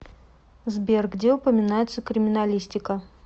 сбер где упоминается криминалистика